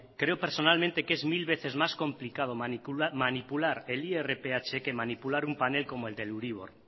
creo personalmente que es mil veces más complicado manipular el irph que manipular un panel como el del euribor